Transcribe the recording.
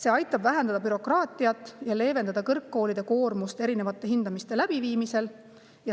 See aitab vähendada bürokraatiat ja leevendada kõrgkoolide koormust erinevate hindamiste läbiviimisel.